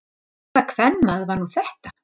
Hvaða kvenmaður var nú þetta?